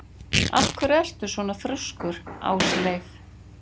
Af hverju ertu svona þrjóskur, Ásleif?